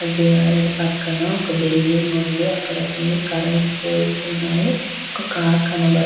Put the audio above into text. divider పక్కన ఒక building ఉంది అక్కడ కొన్ని కరెంటు పోల్స్ ఉన్నాయి అక్కడ ఒక కార్ కన--